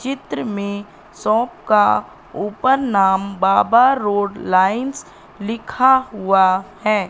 चित्र में शॉप का ऊपर नाम बाबा रोड लाइंस लिखा हुआ है।